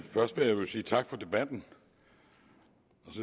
sige tak for debatten